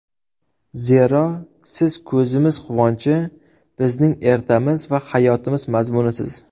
Zero, siz ko‘zimiz quvonchi, bizning ertamiz va hayotimiz mazmunisiz!